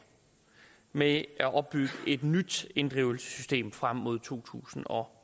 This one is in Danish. med at opbygge et nyt inddrivelsessystem frem mod to tusind og